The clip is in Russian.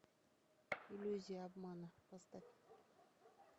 иллюзия обмана поставь